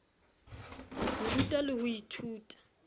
ho ruta le ho ithuta